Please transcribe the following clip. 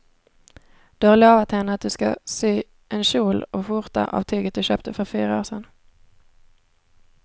Du har lovat henne att du ska sy en kjol och skjorta av tyget du köpte för fyra år sedan.